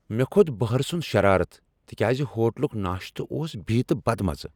مےٚ کھوٚت بہرٕ سُند شرارتھ تکیاز ہوٹلک ناشتہٕ اوس بی تہٕ بد مزٕ۔